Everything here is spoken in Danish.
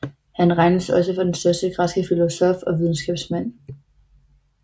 Han regnes også for den første græske filosof og videnskabsmand